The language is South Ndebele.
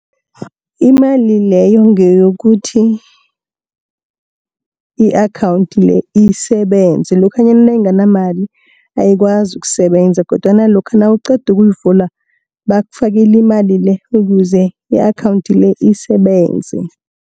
Imali leyo ngeyokuthi, i-akhawunthi le, isebenze lokhanyana nayinganamali ayikwazi ukusebenza, kodwana lokha nawuqeda ukuyivula bakufakela imali le, ukuze i-akhawunthi le, isebenze.